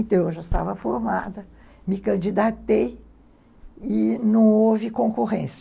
Então, eu já estava formada, me candidatei e não houve concorrência.